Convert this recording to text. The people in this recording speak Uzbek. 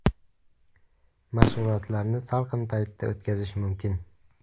Mashg‘ulotlarni salqin paytda o‘tkazish mumkin.